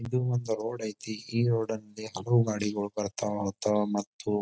ಇದು ಒಂದು ರೋಡ್ ಐತಿ ಈ ರೋಡ್ ಅಲ್ಲಿ ಹಲವು ಗಡಿಗಳು ಬರ್ತಾವ ಹೋಗ್ತಾವ ಮತ್ತು--